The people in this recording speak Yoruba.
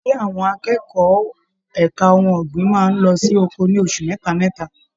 Ṣe àwọn akẹ́kọ̀ọ́ ẹka ohùn ọgbin máa n lọ sí oko ní loṣù mẹta mẹta?